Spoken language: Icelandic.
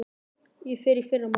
Ég fer í fyrramálið.